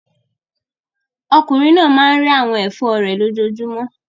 Okùnrin náà máa ń rẹ́ àwọn ẹ̀fọ́ rẹ̀ lójoojúmọ́.